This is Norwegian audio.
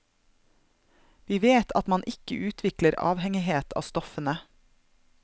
Vi vet at man ikke utvikler avhengighet av stoffene.